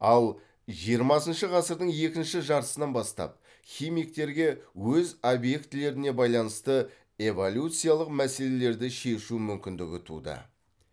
ал жиырмасыншы ғасырдың екінші жартысынан бастап химиктерге өз объектілеріне байланысты эволюциялық мәселелерді шешу мүмкіндігі туды